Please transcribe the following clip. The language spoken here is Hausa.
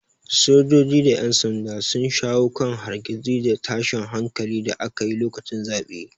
Sojoji da yan sanda sun shawo kan hargitsi da tashin hankalin da aka yi lokacin zaɓe.